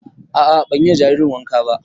A'a ban yi wa jaririn wanka ba